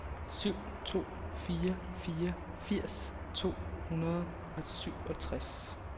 syv to fire fire firs to hundrede og syvogtres